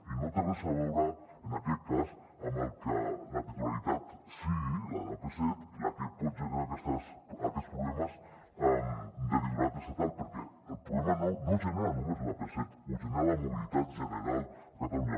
i no té res a veure en aquest cas amb que la titularitat sigui la de l’ap set la que pot generar aquests problemes de titularitat estatal perquè el problema no el genera només l’ap set el genera la mobilitat general a catalunya